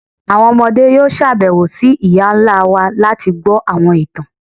Àwọn ọmọde yóò ṣabẹwo sí iyá ńlá wá lati gbọ awọn ìtàn.